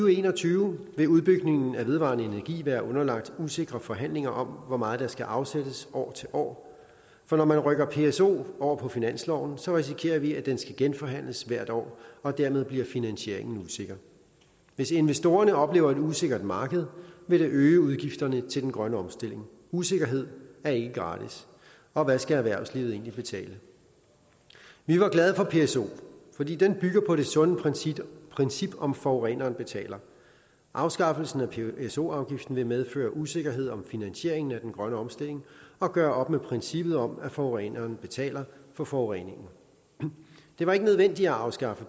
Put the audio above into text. og en og tyve vil udbygningen af vedvarende energi være underlagt usikre forhandlinger om hvor meget der skal afsættes år til år for når man rykker pso over på finansloven risikerer vi at den skal genforhandles hvert år og dermed bliver finansieringen usikker hvis investorerne oplever et usikkert marked vil det øge udgifterne til den grønne omstilling usikkerhed er ikke gratis og hvad skal erhvervslivet egentlig betale vi var glade for pso fordi den bygger på det sunde princip princip om at forureneren betaler afskaffelsen af pso afgiften vil medføre usikkerhed om finansieringen af den grønne omstilling og gøre op med princippet om at forureneren betaler for forureningen det var ikke nødvendigt at afskaffe